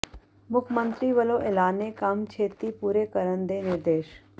ਮੁੱਖ ਮੰਤਰੀ ਵਲੋਂ ਐਲਾਨੇ ਕੰਮ ਛੇਤੀ ਪੂਰੇ ਕਰਨ ਦੇ ਨਿਰਦੇਸ਼